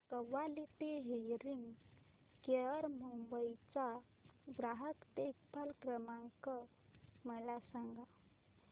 quality hearing care Mumbai चा ग्राहक देखभाल क्रमांक मला सांगा